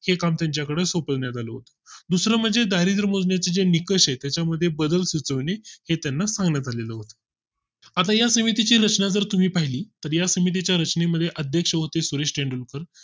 हे काम त्यांच्याकडे सोपविण्यात आले होते. दुसरे म्हणजे दारिद्र मोजण्या चे जे निकष आहेत, त्याच्या मध्ये बदल सुचवणे हे त्यांना सांगण्यात आले होते. आता या समिती ची रचना जर तुम्ही पाहिली तर या समिती च्या रचनेमध्ये अध्यक्ष होते सुरेश तेंडुलकर